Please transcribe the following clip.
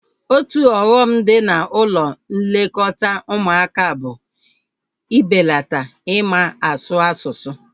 Otu ọghọm dị na ụlọ nlekọta ụmụaka bụ mbelata ịma asụ asụsụ